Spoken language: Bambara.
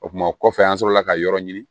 O tuma kɔfɛ an sɔrɔla ka yɔrɔ ɲini